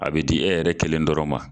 A bɛ di e yɛrɛ kelen dɔrɔnw ma.